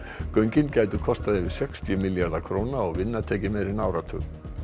göngin gætu kostað yfir sextíu milljarða króna og vinna tekið meira en áratug